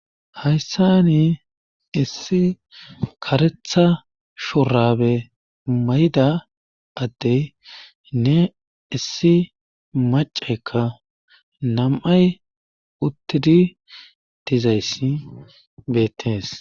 Hayssan issi kareththa shurabe mayida adenne issi maccaykka nam'ay uttidi dizayssi beetees.